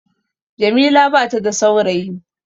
Jamila bata da saurayi